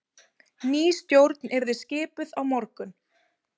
Ný stjórn yrði skipuð á morgun